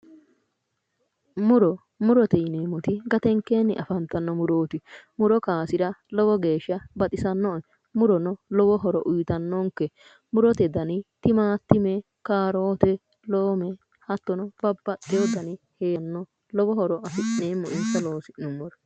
Muro murote yineemmoti gatenkeenni afantanno murooti muro kaasira lowo geeshsha baxisannoe murono lowo horo uyiitannonke murote dani timaattime karoote loome lowo horo afi'neemmo insa loosi'nummoro